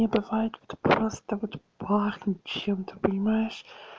мне бывает вот просто вот пахнет чем-то понимаешь